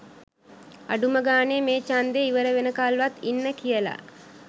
අඩුම ගාණේ මේ ඡන්දෙ ඉවර වෙනකල්වත් ඉන්න කියලා